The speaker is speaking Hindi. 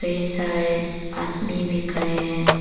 कई सारे आदमी भी खड़े हैं।